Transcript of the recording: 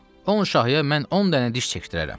On şahıya mən 10 dənə diş çəkdirərəm.